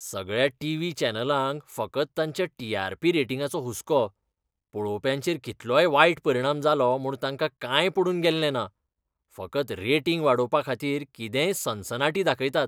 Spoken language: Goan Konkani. सगळ्या टीव्ही चॅनलांक फकत तांच्या टी.आर.पी. रेटिंगाचो हुस्को. पळोवप्यांचेर कितलोय वायट परिणाम जालो म्हूण तांकां कांय पडून गेल्लें ना. फकत रेटिंग वाडोवपाखातीर कितेंय सनसनाटी दाखयतात.